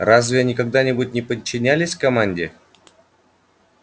разве они когда-нибудь не подчинялись команде